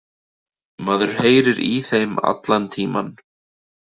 Maður heyrði í þeim allan tímann